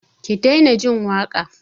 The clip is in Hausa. Ki daina jin waƙa!